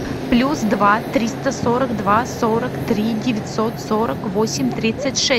плюс два триста сорок два сорок три девятьсот сорок восемь тридцать шесть